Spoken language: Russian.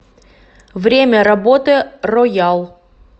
время работы роял